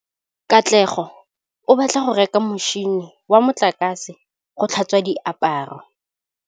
Katlego o batla go reka motšhine wa motlakase wa go tlhatswa diaparo.